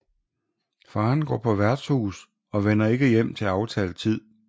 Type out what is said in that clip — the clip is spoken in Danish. Faderen går på værtshus og vender ikke hjem til aftalt tid